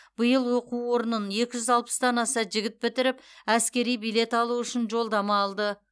биыл оқу орнын екі жүз алпыстан аса жігіт бітіріп әскери билет алу үшін жолдама алды